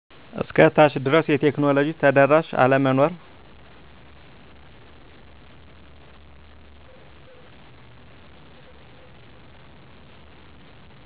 እስከ ታች ድረስ የቴክኖሎጂ ተደራሽ አለመኖር